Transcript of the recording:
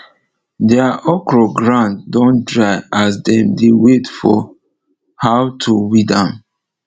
deir okro ground don dry as dem dey wait for how to weed am